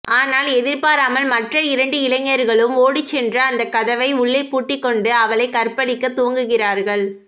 ஆனால் எதிர்பாராமல் மற்ற இரண்டு இளைஞர்களும் ஒடி சென்று அந்தக் கதவை உள்ளே பூட்டிக் கொண்டு அவளைக் கற்பழிக்க துவங்குகிறார்கள்